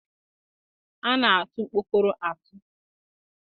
A na-atụ ọkpọkọrọ atụ.